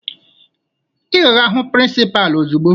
Ị ga-aga hụ prịnsịpaa ozugbo!